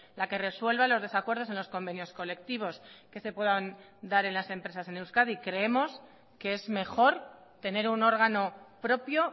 la que resuelva los desacuerdos en los convenios colectivos que se puedan dar en las empresas en euskadi creemos que es mejor tener un órgano propio